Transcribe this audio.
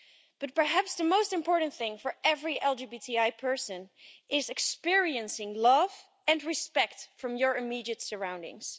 But perhaps the most important thing for every LGBTI person, is experiencing love and respect from your immediate surroundings.